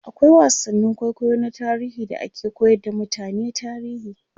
akwai wasannin kwaikwayo na tarihi da ake koyar da mutane tarihi